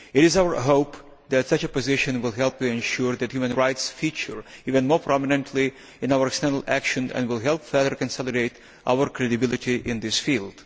It is our hope that such a position will help to ensure that human rights feature even more prominently in our external action, and will help further consolidate our credibility in this field.